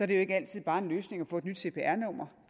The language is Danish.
det jo ikke altid bare en løsning at få et nyt cpr nummer